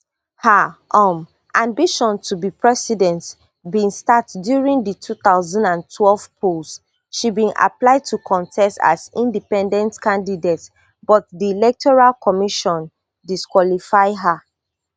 her um ambition to be president bin start during di two thousand and twelve polls she bin apply to contest as independent candidate but di electoral commission disqualify her